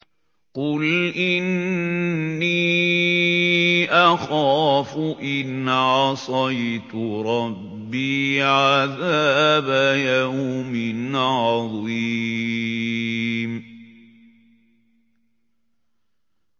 قُلْ إِنِّي أَخَافُ إِنْ عَصَيْتُ رَبِّي عَذَابَ يَوْمٍ عَظِيمٍ